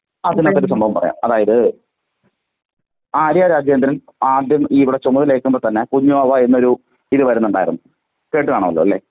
Speaker 1അത് ഒരു സംഭവം പറയാം ആര്യ രാജേന്ദ്രൻ ആദ്യം ഇവിടെ ചുമതല ഏൽക്കുമ്പൊതന്നെ കുഞ്ഞാവ എന്നൊരു ഇത് വരുന്നുണ്ടായിരുന്നു.കേട്ട് കാണുമല്ലോ അല്ലേ?